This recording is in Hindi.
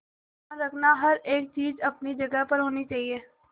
ध्यान रखना हर एक चीज अपनी जगह पर होनी चाहिए